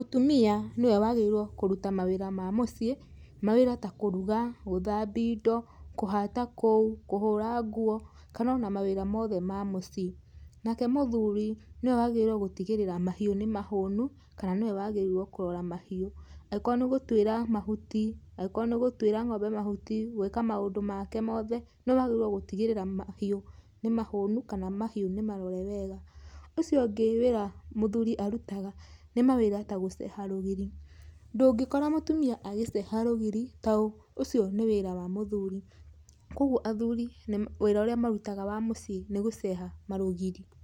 Mũtumia nĩwe wagĩrĩirwo kũruta wĩra wa mũciĩ mawĩra ta kuruga, guthambia indo, kũhata kũu, kũhũra nguo kana ona mawĩra mothe ma mũciĩ. Nake mũthuri nĩwe wagĩrĩirwo gũtigĩrĩra mahiũ nĩ mahũnu kana nĩwe wagĩrĩirwo kũrora mahiũ. Angĩkorũo nĩ gũtuĩra ngómbe mahuti, gwĩka maũndũ make mothe nĩwe wagĩrĩirũo gũtigĩrĩra mahiũ nĩ mahũnu kana mahiũ nĩ marore wega. Ũcio ũngĩ wĩra mũthuri arutaga nĩ mawĩra ta gũceha rũgiri, ndũngĩkora mũtumia agĩceha rũgiri taũ ũcio nĩ wĩra wa mũthuri. Kwoguo athuri wĩra ũrĩa marutaga wa mũciĩ nĩ gũceha marũgiri.